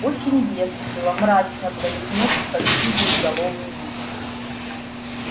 очень весело мрачно произнёс почти безголовый ник